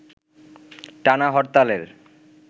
টানা হরতালের